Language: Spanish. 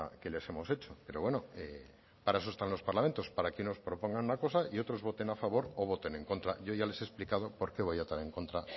que les hemos hecho pero bueno para eso están en los parlamentos para que unos propongan una cosa y otros voten a favor o voten en contra yo ya les he explicado por qué voy a votar en contra